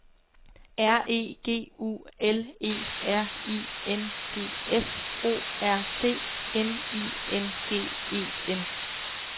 R E G U L E R I N G S O R D N I N G E N